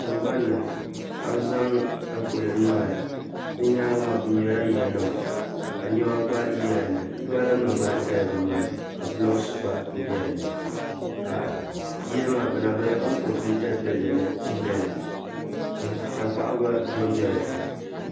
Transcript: Tiŋgbanni ka bi zaŋ taapooli niŋ di nyaanga maa bi mɛla yiya nima ka niɛma gba bɛ dinni gala nim gba ʒɛla bini maa ni ka blocks gba bɛ dinni yiya maa ancompilitɛd bildin n nyɛli tankpaɣu gba dondola dinni